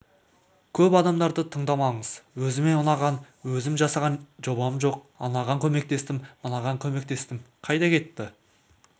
көп адамдарды тыңдамаңыз өзіме ұнаған өзім жасаған жобам жоқ анаған көмектестім мынаған көмектестім қайда кетті